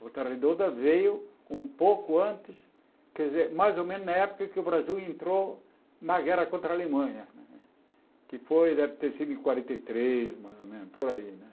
Volta redonda veio um pouco antes, quer dizer, mais ou menos na época que o Brasil entrou na guerra contra a Alemanha, que foi, deve ter sido em quarenta e três, mais ou menos, por aí, né?